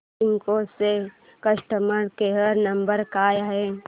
Cisco चा customer care number काय आहे